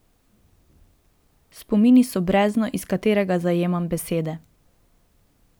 Spomini so brezno, iz katerega zajemam besede.